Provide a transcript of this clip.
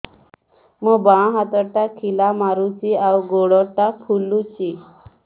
ମୋ ବାଆଁ ହାତଟା ଖିଲା ମାରୁଚି ଆଉ ଗୁଡ଼ ଟା ଫୁଲୁଚି